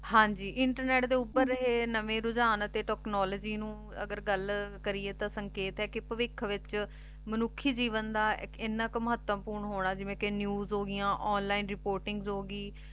ਹਾਂਜੀ ਇੰਟਰਨੇਟ ਦੇ ਉਪਰ ਆਯ ਨਵੀ ਰੁਝਾਨ ਤੇ technology ਨੂ ਅਗਰ ਗਲ ਕਰਿਯਾ ਤਾਂ ਸੰਕੀਤ ਆਯ ਪਾਵਿਖ ਵਿਚ ਮਨੁਖੀ ਜਿਵੇਂ ਦਾ ਏਨਾ ਕੁ ਮਹਾਤਾਵ੍ਪੋਰਾਂ ਹੋਣਾ ਜਿਵੇਂ ਕੇ news ਹੋਗੈਯਾਂ online reportings ਹੋਗੀ